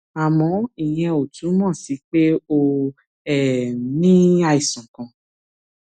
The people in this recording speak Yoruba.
àmọ ìyẹn ò túmọ sí pé o um ní àìsàn kan